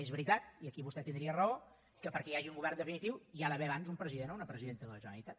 és veritat i aquí vostè tindria raó que perquè hi hagi un govern definitiu hi ha d’haver abans un president o una presidenta de la generalitat